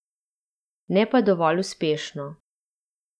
Ne pa dovolj uspešno.